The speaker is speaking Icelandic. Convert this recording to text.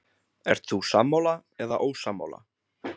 Ert þú sammála eða ósammála?